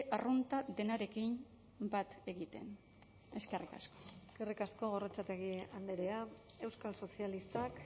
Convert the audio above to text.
arrunta denarekin bat egiten eskerrik asko eskerrik asko gorrotxategi andrea euskal sozialistak